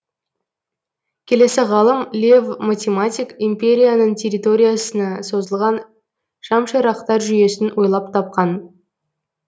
келесі ғалым лев математик империяның территориясына созылған шамшырақтар жүйесін ойлап тапқан